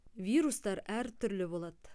вирустар әртүрлі болады